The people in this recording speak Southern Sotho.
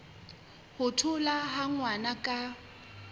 ho tholwa ha ngwana ka